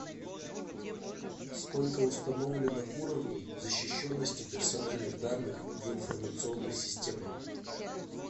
сколько установлено уровней защищенности персональных данных в информационных системах